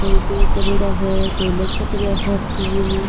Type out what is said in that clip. कोई पैक करेड़ा है कोई लटक रा है फूल।